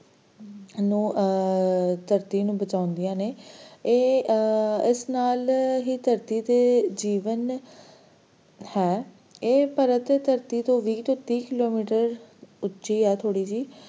ਇਹਨੂੰ ਅਹ ਧਰਤੀ ਨੂੰ ਬਚਾਉਂਦਿਆਂ ਨੇ ਇਹ ਅਹ ਇਸ ਨਾਲ ਹੀ ਧਰਤੀ ਤੇ ਜੀਵਨ ਹੈ ਇਹ ਪਰਤ ਧਰਤੀ ਤੋਂ ਵੀਹ ਤੋਂ ਤੀਹ kilometer ਉੱਚੀ ਹੈ ਥੋੜੀ ਜਿਹੀ